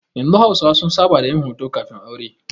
Yanzu hausawa sun saba da yin hoton kafin-aure.